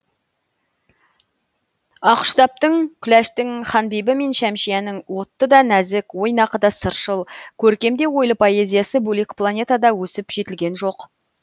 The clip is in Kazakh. ақұштаптың күләштың ханбибі мен шәмшияның отты да нәзік ойнақы да сыршыл көркем де ойлы поэзиясы бөлек планетада өсіп жетілген жоқ